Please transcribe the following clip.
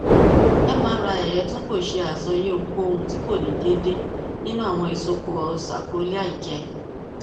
mri rẹ tun ko ṣe asọye ohunkohun ti ko ni deede ninu awọn isopọ sakroiliac rẹ